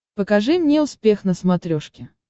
покажи мне успех на смотрешке